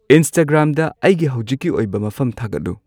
ꯏꯟꯁꯇꯥꯒ꯭ꯔꯥꯝꯗ ꯑꯩꯒꯤ ꯍꯧꯖꯤꯛꯀꯤ ꯑꯣꯏꯕ ꯃꯐꯝ ꯊꯥꯒꯠꯂꯨ